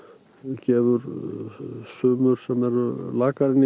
gefur sumur sem eru lakari í